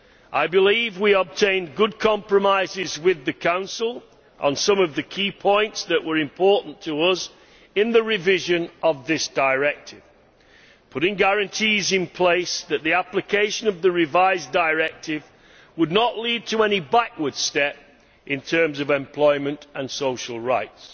I believe we obtained good compromises with the Council on some of the key points that were important to us in the revision of this directive, putting guarantees in place that the application of the revised directive would not result in any backward step in terms of employment and social rights,